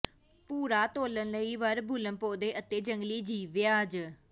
ਭੂਰਾ ਤੋਲਣ ਲਈ ਵਰਬੁੱਲਮ ਪੌਦੇ ਅਤੇ ਜੰਗਲੀ ਜੀਵ ਵਿਆਜ